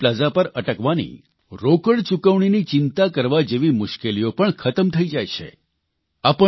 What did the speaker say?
સાથે toll plaza પર અટકવાની રોકડ ચૂકવણીની ચિંતા કરવા જેવી મુશ્કેલીઓ પણ ખતમ થઇ ગઇ છે